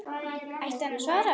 Ætti hann að svara?